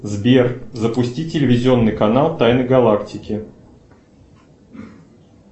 сбер запусти телевизионный канал тайны галактики